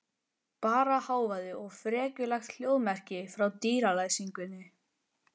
Bara hávaði og frekjulegt hljóðmerki frá dyralæsingunni.